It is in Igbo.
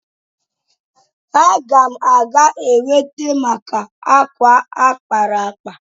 Aga m aga Akwete maka akwa a kpara akpa